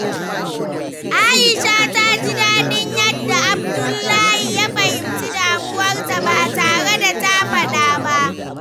Aisha ta ji daɗin yadda Abdullahi ya fahimci damuwarta ba tare da ta faɗa ba.